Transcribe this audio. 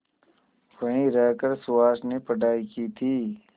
वहीं रहकर सुहास ने पढ़ाई की थी